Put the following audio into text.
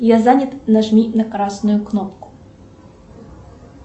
я занят нажми на красную кнопку